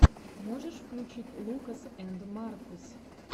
можешь включить лукас энд маркус